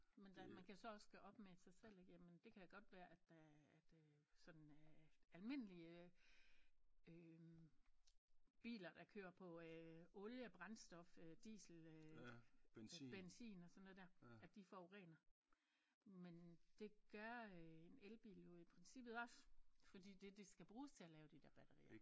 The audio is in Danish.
Men der man kan jo så også gøre op med sig selv ikke jamen det kan da godt være at der at øh sådan øh almindelige øh biler der kører på øh oliebrændstof øh diesel øh benzin og sådan noget der at de forurener men det gør øh en elbil jo i princippet også fordi det de skal bruges til at lave de der batterier